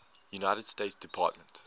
united states department